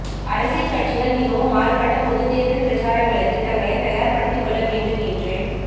அரசியல் கட்சிகள் மிகவும் மாறுபட்ட பொதுத் தேர்தல் பிரசாரங்களுக்குத் தங்களைத் தயார்ப்படுத்திக்கொள்ள வேண்டும் என்று